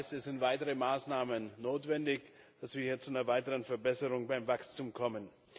Das heißt, es sind weitere Maßnahmen notwendig, damit wir zu einer weiteren Verbesserung beim Wachstum kommen.